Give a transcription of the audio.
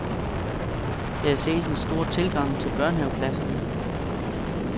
Der ses en stor tilgang til børnehaveklasserne.